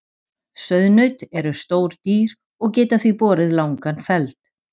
Sauðnaut eru stór dýr og geta því borið langan feld.